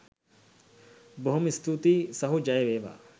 බොහොම ස්තුතියි සහෝ ජය වේවා.